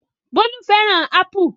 Bólú fẹ́ràn ápù